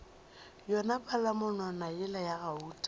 yona palamonwana yela ya gauta